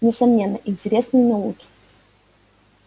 несомненно интересные науки